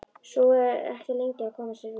Sú er ekki lengi að koma sér úr!